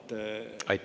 Aitäh!